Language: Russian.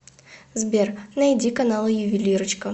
сбер найди каналы ювелирочка